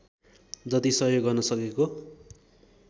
जति सहयोग गर्न सकेको